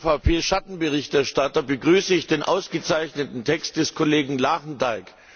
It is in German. Als EVP Schattenberichterstatter begrüße ich den ausgezeichneten Text des Kollegen Lagendijk.